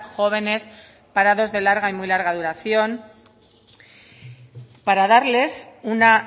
jóvenes parados de larga y muy larga duración para darles una